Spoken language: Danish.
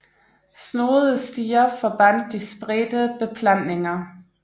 Snoede stier forbandt de spredte beplantninger